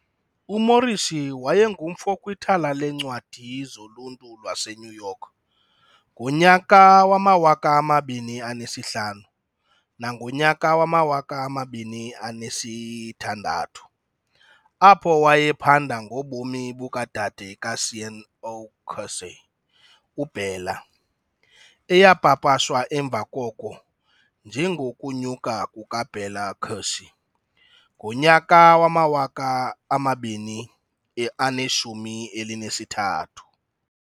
UMorrissy wayengumfo kwiThala leeNcwadi loLuntu laseNew York ngo-2005-6, apho wayephanda ngobomi bukaDade kaSean O'Casey, uBella, eyapapashwa emva koko "njengoKunyuka kukaBella Casey" ngo-2013.